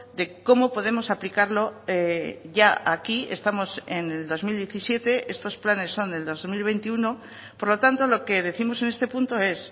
de cómo podemos aplicarlo ya aquí estamos en el dos mil diecisiete estos planes son del dos mil veintiuno por lo tanto lo que décimos en este punto es